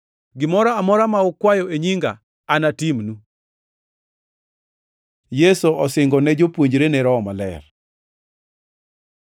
Gimoro amora ma ukwayo e nyinga anatimnu.” Yesu osingo ni jopuonjrene Roho Maler